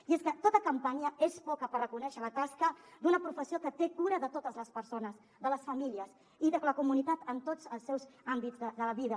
i és que tota campanya és poca per reconèixer la tasca d’una professió que té cura de totes les persones de les famílies i de la comunitat en tots els seus àmbits de vida